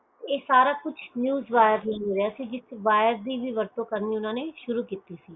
ਇਕ ਸਾਰਾ ਕੁਛ news wire ਲਈ ਹੋਰਿਯਾ ਸੀ ਜਿਸ ਵਾਈਰ ਦੀ ਵੀ ਵਰਤੋਂ ਕਰਨੀ ਉਨ੍ਹਾਂ ਨੇ ਸ਼ੁਰੂ ਕੀਤੀ ਸੀ